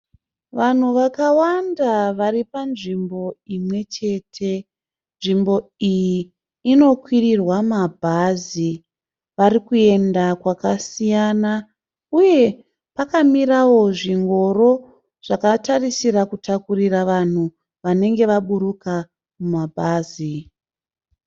Vanhu vakawanda vari panzvimbo imwechete. Nzvimbo iyi inokwirirwa ma bhazi. Vari kuenda kwakasiyana uye pakamirao zvingoro zvakatarisira kutakurira vanhu vanenge vaburuka mumabhazi.